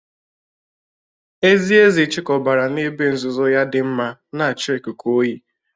Ezi ezi chịkọbara n’ebe nzuzo ya dị mma, na-achọ ikuku oyi.